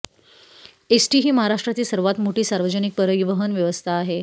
ST ही महाराष्ट्रातील सर्वात मोठी सार्वजनिक परिवहन व्यवस्था आहे